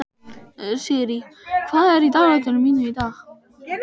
Sirrý, hvað er í dagatalinu mínu í dag?